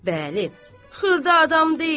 Bəli, xırda adam deyil.